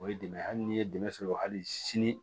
O ye dɛmɛ hali ni ye dɛmɛ sɔrɔ hali sini